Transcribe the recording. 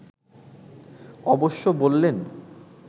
অবশ্য বললেন